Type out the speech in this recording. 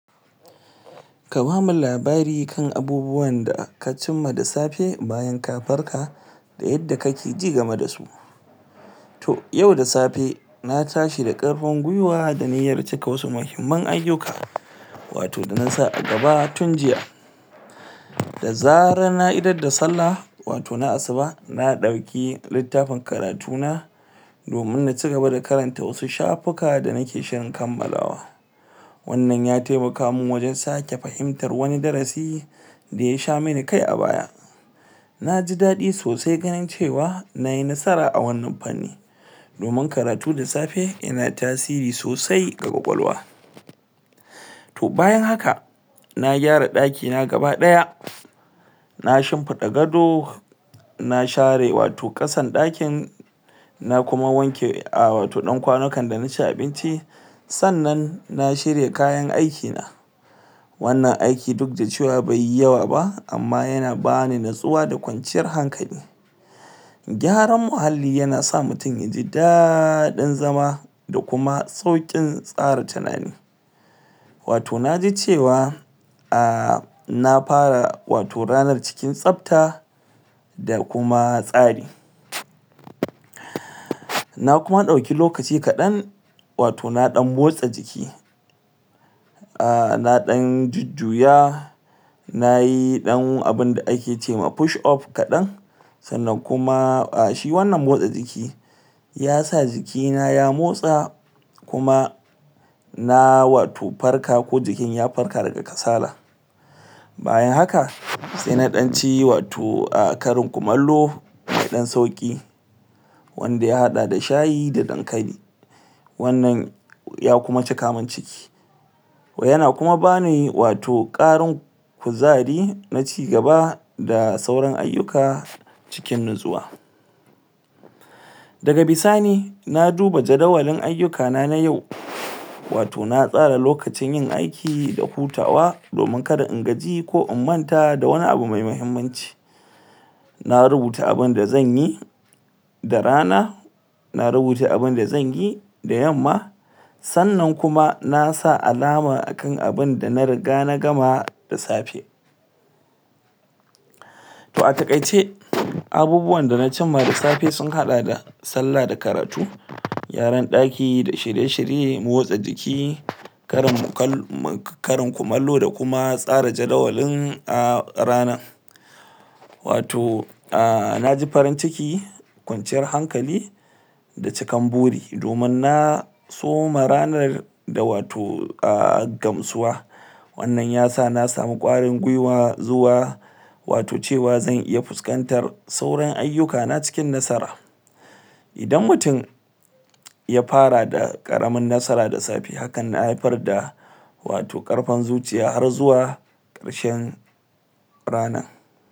ka bamu labari kan abubuwan da ka cimma da safe bayan kafarka da yadda kakeji game dasu to yau da safe na tashi da karfin gwiwa da niyyar cika wasu muhimman ayuka wato da nasa a gaba tun jiya da zarar na idar da salla wato na asuba na dauki littafin karatu na domin na cigaba da karanta wasu shafuka da nike shirin kammalawa wannan ya taiamaka man wajen sake fahimtar wani darasi daya sha mani kai a baya naji dadi sosai ganin cewa nayi nasara a wannan fanni domin karatu da safe yana tasiri sosai a kwakwalwa to bayan haka na gyara daki na gaba daya na shimfida gado na share wato kasan dakin na kuma wanke a wato dan kwanukan dana ci abinci sannan na shirya kayan aiki na wannan aiki dukda cewa baiyi yawa ba amma yana bani natsuwa da kwanciyar hankali gyaran mahalli yana sa mutum yaji dadin zama da kuma saukin tsara tunani wato naji cewa ah wato na fara wato ranar cikin tsabta da kuma tsari na kuma dauki lokaci kadan a wato na dan motsa jiki ah na dan jujjuya nayi yan abinda da ake cema fush up kadan sannan kuma ah shi wannan motsa jiki yasa jiki na ya motsa kuma na wato farka ko jikin ya farka daga kasala baya haka sai na dan ci wato a karin kumallo dan sauki wanda ya hada da shayi da dankali wannan ya kuma cika man ciki yana kuma bani wato karin kuzari na cigaba da da sauran ayuka cikin natsuwa daga bisani na duba jadawalin ayukana na yau wato na tsara lokacin yin aiki da hutawa domin kada in gaji ko in manta da wani me mahimmanci na rubuta abinda zanyi da rana na rubuta abinda zanyi da yamma sannan kuma nasa alama akan abinda na riga na gama da safe to a takaice abubuwan da na cimma da safe sun hada da sallah da karatu gyaran daki da shirye shirye motsa jiki karin kumallo da kuma tsara jadawalin rana wato ah naji farinb ciki kwanciyar hankali da cikan buri domin na soma ranar da wato ah gamsuwa wannan yasa na samu kwarin gwiwa zuwa wato cewa zan iya fuskantar sauran ayuka na cikin nasara idan mutum ya fara da karamin nasara da safe hakan na haifar da wato karfin zuciya har zuwa karshen ranan